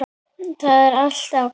Það var alltaf gott.